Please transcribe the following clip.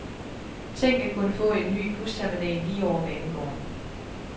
Tænk at kunne få en ny busterminal lige over banegården.